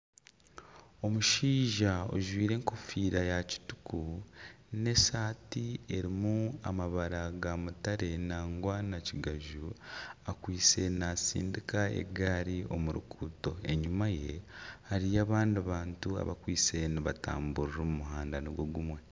Omushaija ojwaire enkofiira ya kituku n'esaati erimu amabara ga mutare nangwa na kigaju akwaitse natsindiika egaari omu ruguuto enyuma ye hariyo abandi bantu abakwaitse nibatamburira omu muhanda nigwo gumwe.